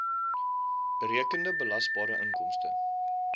berekende belasbare inkomste